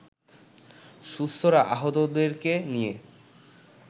সুস্থরা আহতদেরকে নিয়ে